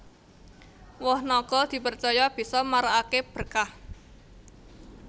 Woh naga dipercaya bisa marakaké berkah